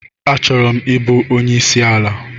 Achọrọ m ịbụ onye isi ala.